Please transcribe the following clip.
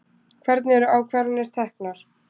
Hvernig eru ákvarðanir teknar?